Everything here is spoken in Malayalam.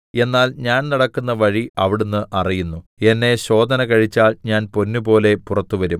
എന്നാൽ ഞാൻ നടക്കുന്ന വഴി അവിടുന്ന് അറിയുന്നു എന്നെ ശോധന കഴിച്ചാൽ ഞാൻ പൊന്നുപോലെ പുറത്ത് വരും